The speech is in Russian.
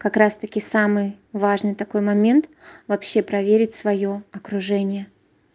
как раз-таки самый важный такой момент вообще проверить своё окружение